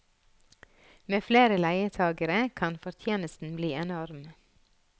Med flere leietagere kan fortjenesten bli enorm.